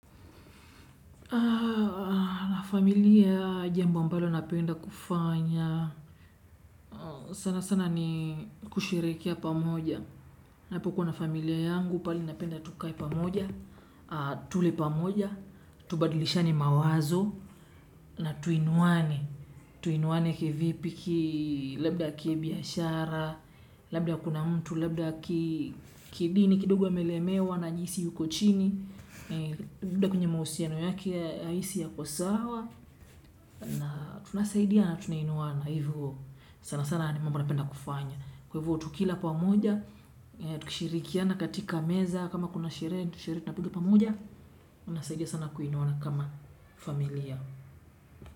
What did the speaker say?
Na familia jambo ambalo napenda kufanya sana sana ni kushirikia pamoja ninapo kuwa familia yangu pale napenda tukae pamoja tule pamoja. Tubadilishane mawazo na tuinwane tuinwane kivipi ki. Labda kibiashara labda kuna mtu labda kidini kidogo amelemewa anajihisi yuko chini labda kwenye mahusiano yake hahisi ako sawa. Na tunasaidia na tunainuana hivyo sana sana ni mambo napenda kufanya kwa hivyo tukila pamoja. Tushirikiana katika meza kama kuna sherehe, sherehe tunapigi pamoja. Unasaidia sana kuinuana kama familia.